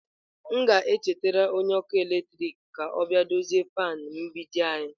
M ga-echetara onye ọkụ eletrik ka ọ bịa dozie fan mgbidi.